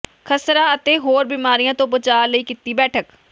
ਖਸਰਾ ਅਤੇ ਹੋਰ ਬਿਮਾਰੀਆਂ ਤੋਂ ਬਚਾਅ ਲਈ ਕੀਤੀ ਬੈਠਕ